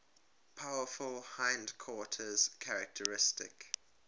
powerful hindquarters characteristic